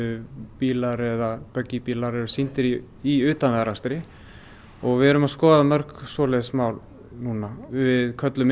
bílar eða bílar eru sýndir í í utanvegaakstri við erum að skoða mörg svoleiðis mál núna við köllum